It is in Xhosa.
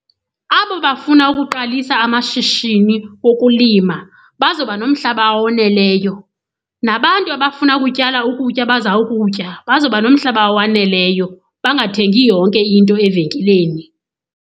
Abo bafuna ukuqalisa amashishini wokulima bazoba nomhlaba owoneleyo. Nabantu abafuna ukutyala ukutya abazawukutya bazoba nomhlaba owaneleyo bangathengi yonke into evenkileni.